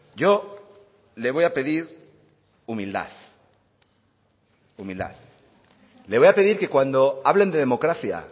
yo le voy a pedir humildad humildad le voy a pedir que cuando hablen de democracia